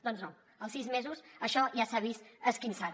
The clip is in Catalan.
doncs no als sis mesos això ja s’ha vist esquinçat